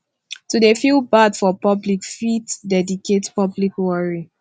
to de feel bad for public fit dedicate public worry